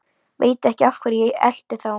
Veit ekki af hverju ég elti þá.